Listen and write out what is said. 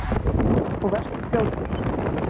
Og vertu fljótur.